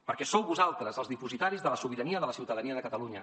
perquè sou vosaltres els dipositaris de la sobirania de la ciutadania de catalunya